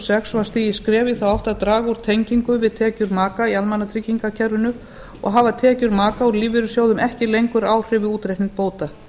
sex var stigið skref í þá átt að draga úr tengingu við tekjur maka í almannatryggingakerfinu og hafa tekjur maka úr lífeyrissjóðum ekki lengur áhrif við útreikning bóta